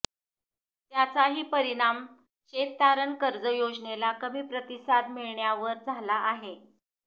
त्याचाही परिणाम शेततारण कर्ज योजनेला कमी प्रतिसाद मिळण्यावर झाला आहे